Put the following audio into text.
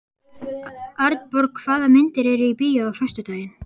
Arnborg, hvaða myndir eru í bíó á föstudaginn?